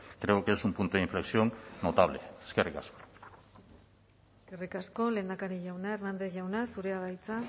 creo que es un punto de inflexión notable eskerrik asko eskerrik asko lehendakari jauna hernández jauna zurea da hitza